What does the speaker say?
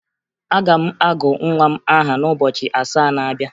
Aga m agụ nwa m aha n'ụbọchị asaa na-abịa